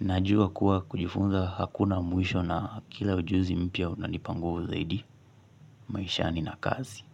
najua kuwa kujifunza hakuna muisho na kila ujuzi mpya unanipa nguvu zaidi maishani na kazi.